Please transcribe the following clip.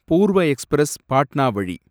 பூர்வ எக்ஸ்பிரஸ் பாட்னா வழி